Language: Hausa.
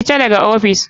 Fita daga ofis.